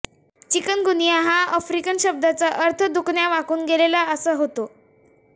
chikungunya ह्या African शब्दाचा अर्थ दुखण्यानेवाकून गेलेला असा होतो